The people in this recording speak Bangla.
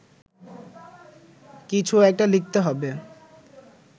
কিছু একটা লিখতে হবে